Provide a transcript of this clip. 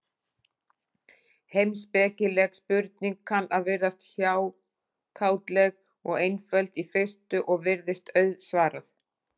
Heimspekileg spurning kann að virðast hjákátleg og einföld í fyrstu, og virst auðsvarað.